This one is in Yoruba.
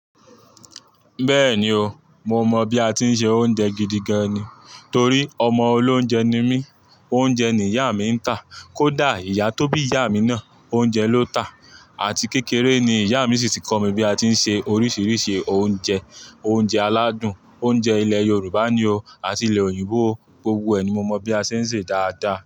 Bẹ́ẹ̀ni o, mo mọ̀ bí a tí ń se oúnjẹ gidi gan ni. Torí ọmọ olóunjẹ ni mí, oúnjẹ ni ìyá mi ń tà. Kódà ìyá tó bí ìyá mi náà, oúnjẹ ló tà. Àti kékeré ni ìyá mi sì kọ́ mi bí a tí ń se oríṣiríṣi oúnjẹ. Oúnjẹ aládùn, oúnjẹ ilẹ̀ Yorùbá ni o àti ilẹ̀ òyìnbó, gbogbo ẹ̀ ni mo mọ̀ bí a ṣe ń sé dáadáa.